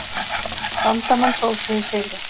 Bandamenn hrósuðu sigri.